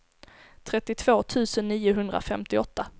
trettiotvå tusen niohundrafemtioåtta